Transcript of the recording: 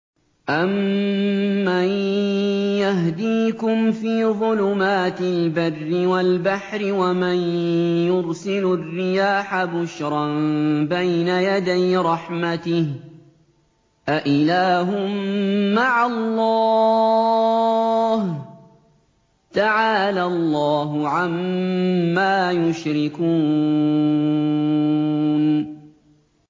أَمَّن يَهْدِيكُمْ فِي ظُلُمَاتِ الْبَرِّ وَالْبَحْرِ وَمَن يُرْسِلُ الرِّيَاحَ بُشْرًا بَيْنَ يَدَيْ رَحْمَتِهِ ۗ أَإِلَٰهٌ مَّعَ اللَّهِ ۚ تَعَالَى اللَّهُ عَمَّا يُشْرِكُونَ